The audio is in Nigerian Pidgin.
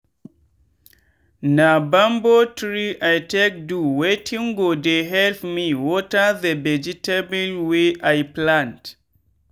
na bamboo tree i take do wetin go dey help me water the vegetable wey i plant.